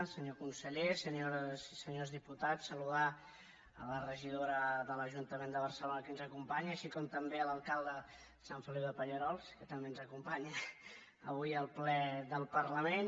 senyor conseller senyores i senyors diputats saludar la regidora de l’ajuntament de barcelona que ens acompanya com també l’alcalde de sant feliu de pallerols que també ens acompanya avui al ple del parlament